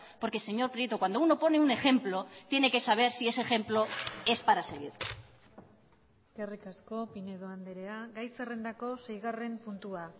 porque señor prieto cuando uno pone un ejemplo tiene que saber si ese ejemplo es para seguir eskerrik asko pinedo andrea gai zerrendako seigarren puntua